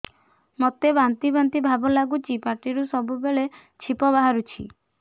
ମୋତେ ବାନ୍ତି ବାନ୍ତି ଭାବ ଲାଗୁଚି ପାଟିରୁ ସବୁ ବେଳେ ଛିପ ବାହାରୁଛି